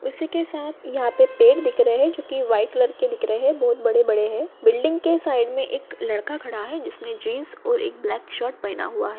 उसी के साथ यहां पे पेड़ दिख रहे है जो कि व्हाइट कलर के दिख रहे है बहुत बड़े-बड़े है बिल्डिंग के साइड मे एक लड़का खड़ा है जिसने जीन्स और एक ब्लैक शर्ट पहना हुआ है।